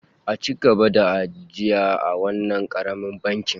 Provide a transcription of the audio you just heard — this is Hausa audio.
A ci gaba ajiya a wannan karamin bankin